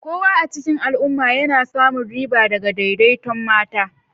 Kowa a cikin al'umma yana samun riba daga daidaiton mata.